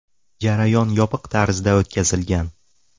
Jarayon yopiq tarzda o‘tkazilgan.